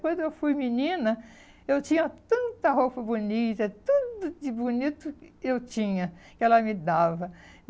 Quando eu fui menina, eu tinha tanta roupa bonita, tanto de bonito que eu tinha, que ela me dava.